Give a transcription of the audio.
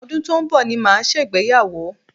Ọdún tó ń bọ̀ ni màá ṣègbéyàwó